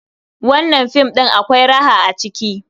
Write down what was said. Wannan film ɗin akwai raha a ciki.